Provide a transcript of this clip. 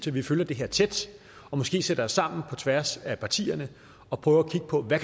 vi følger det her tæt og måske sætter os sammen på tværs af partierne og prøver at kigge på hvad